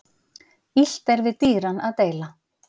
Illt er við dýran að deila.